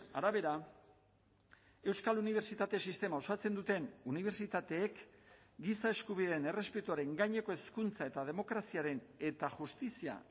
arabera euskal unibertsitate sistema osatzen duten unibertsitateek giza eskubideen errespetuaren gaineko hezkuntza eta demokraziaren eta justizia